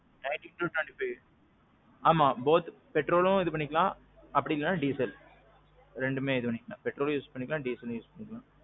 nineteen to twenty five. ஆமாம் both petrolம் இது பண்ணிக்கலாம், அப்பிடி இல்லன்னா diesel. ரெண்டுமே இது பண்ணிக்கலாம். petrolம் use பண்ணிக்கலாம், dieselம் use பண்ணிக்கலாம்.